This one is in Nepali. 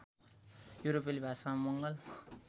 युरोपेली भाषामा मङ्गल